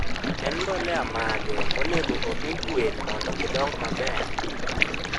En mbole mage monego omii gwen mondo gidong maber?